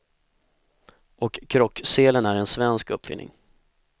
Och krockselen är en svensk uppfinning.